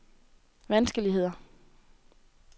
vanskeligheder